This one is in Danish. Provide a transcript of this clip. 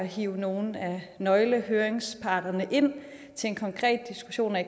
hiver nogle af nøglehøringsparterne ind til en konkret diskussion af